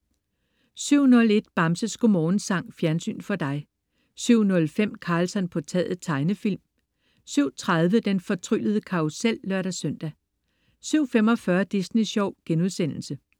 07.01 Bamses Godmorgensang. Fjernsyn for dig 07.05 Karlsson på taget. Tegnefilm 07.30 Den fortryllede karrusel (lør-søn) 07.45 Disney Sjov*